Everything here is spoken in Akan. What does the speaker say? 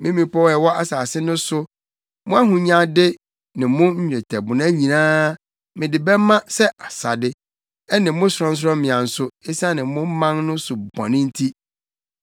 Me mmepɔw a ɛwɔ asase no so, mo ahonyade ne mo nnwetɛbona nyinaa mede bɛma sɛ asade, ɛne mo sorɔnsorɔmmea nso, esiane mo man no so bɔne nti.